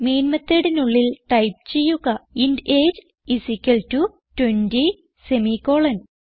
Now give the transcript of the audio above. main methodനുള്ളിൽ type ചെയ്യുക int AGE IS equal to 20 semi colon